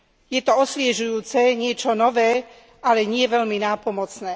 Je to osviežujúce, niečo nové, ale nie veľmi nápomocné.